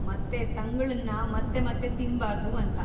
ಮತ್ತೆ ತಂಗುಳನ್ನ ಮತ್ತೆ ಮತ್ತೆ ತಿನ್ಬಾರ್ದು ಅಂತ.